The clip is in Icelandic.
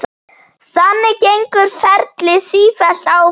Þannig gengur ferlið sífellt áfram.